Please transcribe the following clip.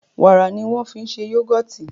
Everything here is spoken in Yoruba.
wàrà ní wan fí ṣe yugọti